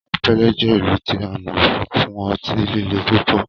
Sapele jẹ ilu ti a mọ fun ọti-lile pupọ